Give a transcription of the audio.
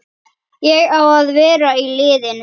Ég á að vera í liðinu!